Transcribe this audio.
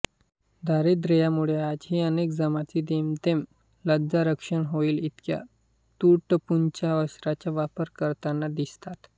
दारिद्र्यामुळे आजही अनेक जमाती जेमतेम लज्जारक्षण होईल इतक्या तुटपुंच्या वस्त्राचा वापर करताना दिसतात